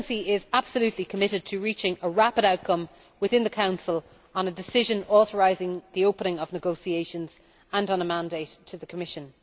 Presidency is absolutely committed to reaching a rapid outcome within the Council on a decision authorising the opening of negotiations and on a mandate to the Commission.